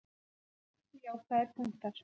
Það eru margir jákvæðir punktar.